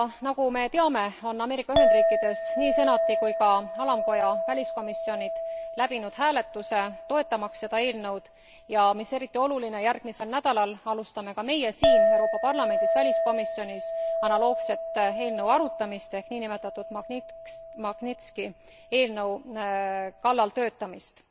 Nagu me teame, on Ameerika Ühendriikides nii Senati kui ka alamkoja väliskomisjonid läbinud hääletuse toetamaks seda eelnõu, ja mis on eriti oluline järgmisel nädalal alustame ka meie siin, Euroopa Parlamendi väliskomisjonis analoogse eelnõu arutamist ehk nn Magnitski eelnõu kallal töötamist.